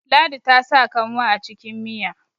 ladi ta sa kanwa a cikin Miya